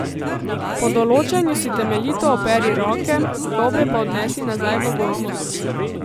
Po določanju si temeljito operi roke, gobe pa odnesi nazaj v gozd.